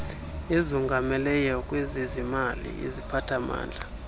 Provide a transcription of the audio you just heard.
ezongameleyo kwezezimali iziphathamandla